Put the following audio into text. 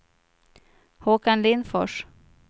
Håkan Lindfors